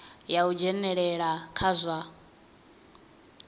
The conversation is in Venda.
ya u dzhenelela kha zwa